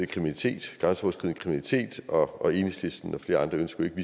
kriminalitet og enhedslisten og flere andre ønsker ikke at